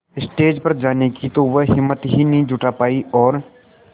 stage पर जाने की तो वह हिम्मत ही नहीं जुटा पाई और